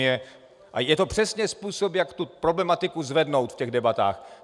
Je to přesně způsob, jak tu problematiku zvednout v těch debatách.